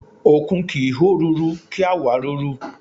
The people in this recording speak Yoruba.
Òkun kì ń hó ruru, kí á wàá ruru.